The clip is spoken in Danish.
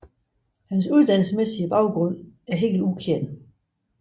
Hans uddannelsesmæssige baggrund er helt ukendt